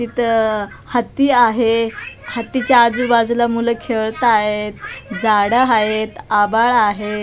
इथं हत्ती आहे हत्तीच्या आजूबाजूला मुलं खेळत आहेत झाडं आहेत आभाळ आहे.